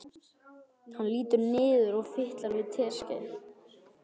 Hann lítur niður og fitlar við teskeið.